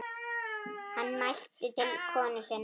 Hann mælti til konu sinnar